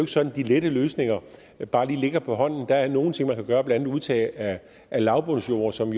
sådan at de lette løsninger bare lige ligger på hånden der er nogle ting man kan gøre blandt andet udtag af lavbundsjord som